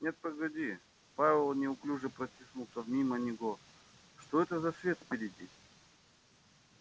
нет погоди пауэлл неуклюже протиснулся мимо него что это за свет впереди